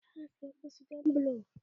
Zai ƙara siya wasu jan bulo.